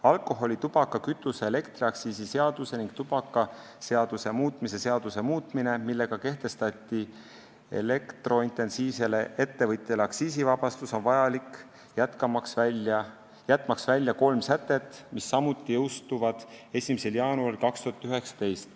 Alkoholi-, tubaka-, kütuse- ja elektriaktsiisi seaduse ning tubakaseaduse muutmise seaduse muutmine, millega kehtestati elektrointensiivsele ettevõtjale aktsiisivabastus, on vajalik jätmaks välja kolm sätet, mis samuti jõustuvad 1. jaanuaril 2019.